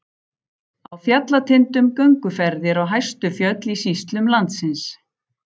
Á fjallatindum- gönguferðir á hæstu fjöll í sýslum landsins.